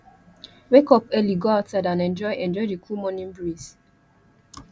wake up early go outside and enjoy enjoy the cool morning breeze